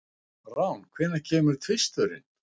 Rán, hvenær kemur tvisturinn?